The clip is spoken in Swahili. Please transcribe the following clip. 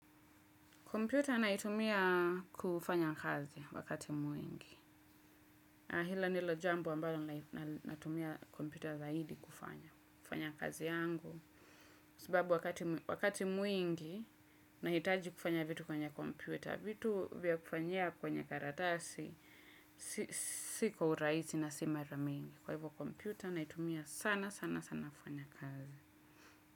Kompyuta naitumia kufanya kazi wakati mwingi. Hilo ndilo jambo ambayo natumia kompyuta zaidi kufanya kazi yangu. Sababu wakati mwingi nahitaji kufanya vitu kwenye kompyuta. Vitu vya kufanyia kwenye karatasi. Si kwa urahisi na si mara mingi. Kwa hivyo kompyuta naitumia sana sana sana kufanya kazi.